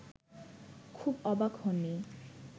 খুব অবাক হননি